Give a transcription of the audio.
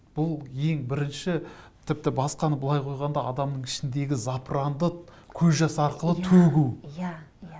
бұл ең бірінші тіпті басқаны былай қойғанда адамның ішіндегі запыранды көз жасы арқылы төгу иә иә